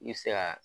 I bɛ se ka